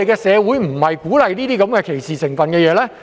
社會不應鼓勵這種帶有歧視成分的行為。